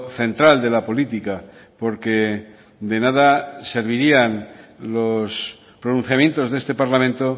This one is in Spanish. central de la política porque de nada servirían los pronunciamientos de este parlamento